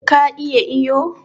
Ka iya iyo?